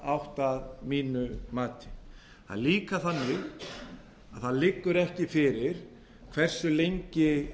átt að mínu mati það er líka þannig að það liggur ekki fyrir hversu lengi